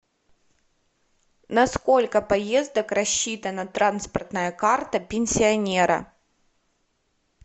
на сколько поездок рассчитана транспортная карта пенсионера